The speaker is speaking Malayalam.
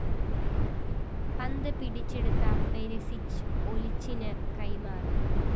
പന്ത്‌ പിടിച്ചെടുത്ത പെരിസിച്ച്‌ ഒലിചിന്‌ കൈമാറി